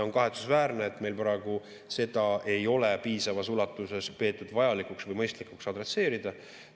On kahetsusväärne, et meil praegu seda ei ole piisavas ulatuses peetud vajalikuks või mõistlikuks adresseerida.